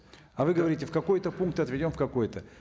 а вы говорите в какой то пункт отведем в какой то